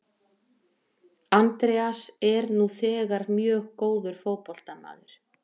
Andreas er nú þegar mjög góður fótboltamaður.